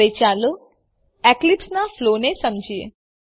હવે ચાલો એપ્લીકેશનનાં ફ્લોને સમજીએ